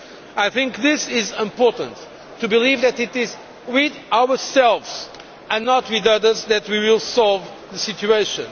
I think it is important to believe that it is with ourselves and not with others that we will solve the situation.